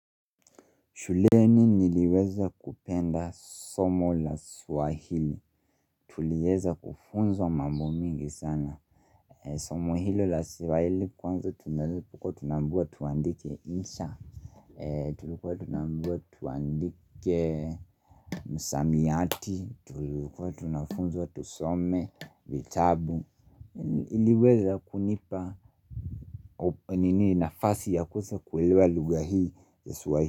Shuleni niliweza kupenda somo la Swahili.Tulieza kufunzwa mambo mingi sana Somo hilo la Swahili kwanza tunazip tulikua tunaambiwa tuandike insha. Tulikuwa tunaambiwa tuandike msamiati tulikuwa tunafunzwa tusome vitabu iliweza kunipa nini nafasi ya kuse kuelewa lugha hii ya Swahili.